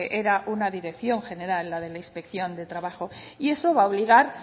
era una dirección general la de la inspección de trabajo y eso va a obligar